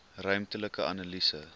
ruimtelike analise